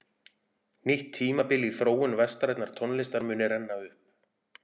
Nýtt tímabil í þróun vestrænnar tónlistar muni renna upp.